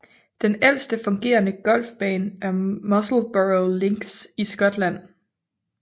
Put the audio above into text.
Den ældste fungerende golfbane er Musselburgh Links i Skotland